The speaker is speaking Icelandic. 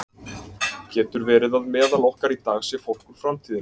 Getur verið að meðal okkar í dag sé fólk úr framtíðinni?